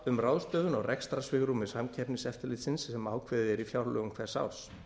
um ráðstöfun á rekstrarsvigrúmi samkeppniseftirlitsins sem ákveðið er í fjárlögum hvers árs